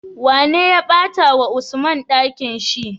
Wane ya bata wa usman Ɗakinshi?